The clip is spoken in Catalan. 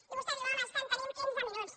i vostè diu home és que tenim quinze minuts